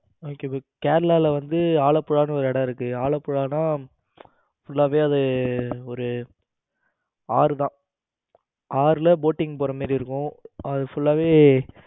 அஹ சரி கேரளாவுல வந்து ஆலப்புழானு ஒரு இடம் இருக்கு. ஆலப்புழானா full வே அது ஒரு ஆறுதான் ஆறுல boating போற மாதிரி இருக்கும். அது full வே